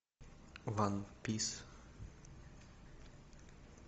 ван пис